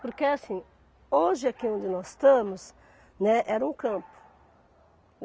Porque assim, hoje aqui onde nós estamos, né, era um campo.